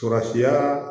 Surasiyaaa